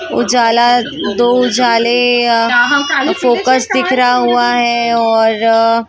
उजाला दो उजाले फोकस दिख रहा हुआ है और।